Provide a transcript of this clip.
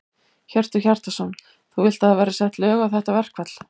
Hjörtur Hjartarson: Þú vilt að það verði sett lög á þetta verkfall?